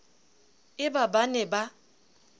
e ba ba ne ba